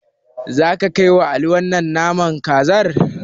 Zaka kaiwa Ali wannan naman kazar?